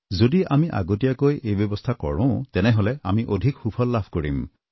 যদি আমি আগতীয়াকৈ এই ব্যৱস্থা কৰোঁ তেনেহলে আমি অধিক সুফল লাভ কৰিম